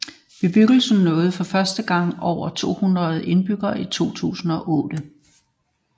Bebyggelsen nåede for første gang over tohundrede indbyggere i 2008